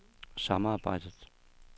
samarbejdet